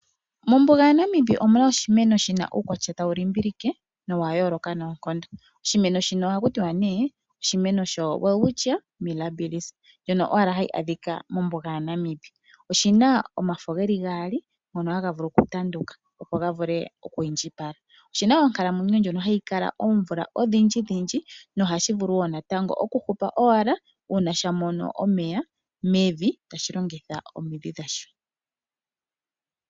Mombuga yaNamib omuna oshimeno shina uukwatya tawu limbilike nowayooloka noonkondo. Oshimeno shino ohaku tiwa ne oshimeno sho Welwitchia milabills ndjono hayi adhika owala mombuga yaNamib. Oshimeno shino oshina omafo geli gaali ngono haga vulu okutanduka opo ga vulu okwiindjipala. Oshina onkalamwenyo ndjono hayi kala oomvula odhindji nohashi vulu wo okukala tashi hupu ngele sha mono omeya mevi tashi longitha omidhi dhasho.